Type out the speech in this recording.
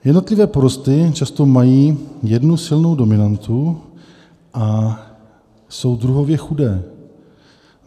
Jednotlivé porosty často mají jednu silnou dominantu a jsou druhově chudé.